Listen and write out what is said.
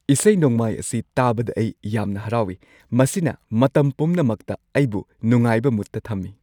ꯏꯁꯩ-ꯅꯣꯡꯃꯥꯏ ꯑꯁꯤ ꯇꯥꯕꯗ ꯑꯩ ꯌꯥꯝꯅ ꯍꯔꯥꯎꯏ꯫ ꯃꯁꯤꯅ ꯃꯇꯝ ꯄꯨꯝꯅꯃꯛꯇ ꯑꯩꯕꯨ ꯅꯨꯉꯥꯏꯕ ꯃꯨꯗꯇ ꯊꯝꯃꯤ꯫